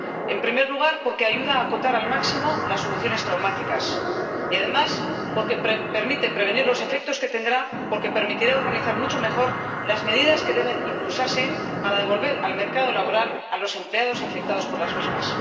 En primer lugar, porque ayuda a acotar al máximo las soluciones traumáticas y, además, porque permite prevenir los efectos que tendrá, porque permitirá organizar mucho mejor las medidas que deben impulsarse para devolver al mercado laboral a los empleados afectados por las mismas.